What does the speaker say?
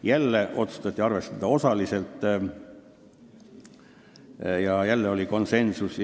" Jälle otsustati arvestada seda osaliselt ja komisjonis oli konsensus.